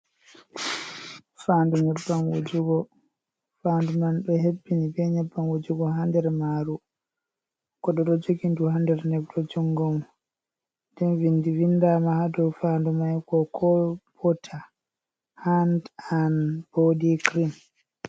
Faandu nyebbam wujugo. Faandu man ɗo hebbini bee nyebbam wujugo ha nder maaru. Goɗɗo ɗo jogi ndu has nder neeɓre mum. Nden vinndi vindaama haa dow faandu may Koko bota haan an boodi Kirim.